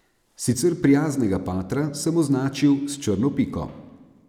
Sicer prijaznega patra sem označil s črno piko.